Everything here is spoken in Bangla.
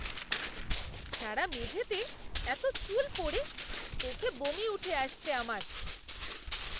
সারা মেঝেতে এতো চুল পড়ে। দেখে বমি উঠে আসছে আমার।